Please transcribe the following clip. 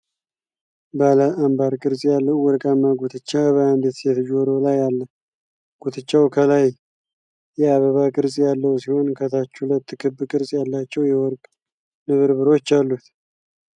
ባለ አምባር ቅርፅ ያለው ወርቃማ ጉትቻ በአንዲት ሴት ጆሮ ላይ አለ። ጉትቻው ከላይ የአበባ ቅርጽ ያለው ሲሆን፣ ከታች ሁለት ክብ ቅርጽ ያላቸው የወርቅ ንብርብሮች አሉት።